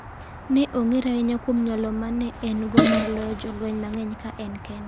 Ne ong'ere ahinya kuom nyalo ma ne en go mar loyo jolweny mang'eny ka en kende.